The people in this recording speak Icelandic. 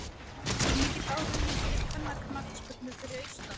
Er mikill áhugi fyrir kvennaknattspyrnu fyrir austan?